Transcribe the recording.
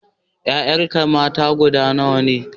Ƴaƴanka mata guda nawa ne?